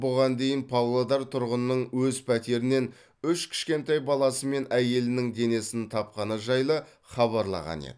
бұған дейін павлодар тұрғынының өз пәтерінен үш кішкентай баласы мен әйелінің денесін тапқаны жайлы хабарлаған еді